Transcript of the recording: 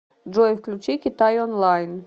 джой включи китай онлайн